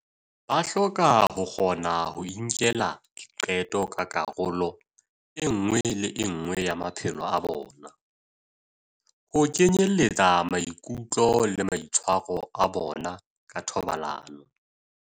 Ba hloka ho kgona ho inkela diqeto ka karolo e nngwe le e nngwe ya maphelo a bona, ho kenyeletsa maikutlo le maitshwaro a bona ka thobalano.